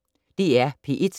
DR P1